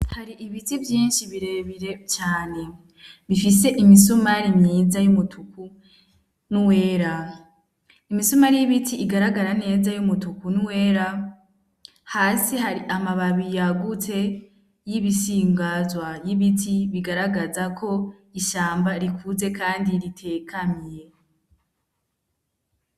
Hari ibiti vyinshi birebire cane bifise imisumari myiza y'umutuku n'uwera imisumari y'ibiti igaragara neza y'umutuku n'uwera hasi hari amababi yagutse y'ibisingazwa y'ibiti bigaragaza ko ishamba rikuze kandi ritekanye